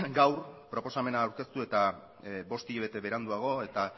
gaur proposamena aurkeztu eta bost hilabete beranduago eta